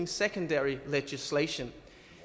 secondary legislation